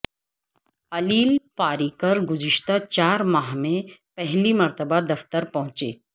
علیل پاریکر گزشتہ چار ماہ میں پہلی مرتبہ دفتر پہنچے